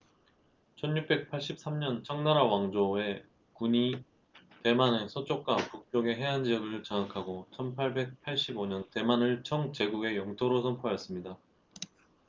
1683년 청나라 왕조1644~1912의 군이 대만의 서쪽과 북쪽의 해안 지역을 장악하고 1885년 대만을 청 제국의 영토로 선포하였습니다